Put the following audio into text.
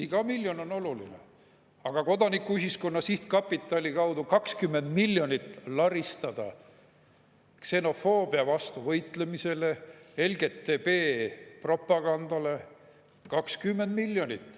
Iga miljon on oluline, aga Kodanikuühiskonna Sihtkapitali kaudu 20 miljonit laristada ksenofoobia vastu võitlemisele, LGBT propagandale 20 miljonit.